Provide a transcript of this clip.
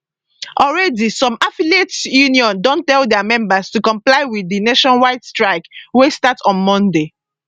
already some affiliate unions don tell dia members to comply wit di nationwide strike wey start on monday